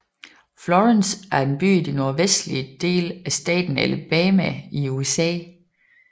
Florence er en by i den nordvestlige del af staten Alabama i USA